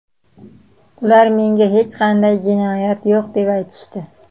Ular menga hech qanday jinoyat yo‘q deb aytishdi.